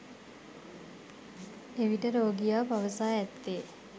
එවිට රෝගියා පවසා ඇත්තේ